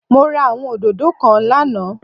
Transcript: Mo ra àwọn òdòdó kan lánàâ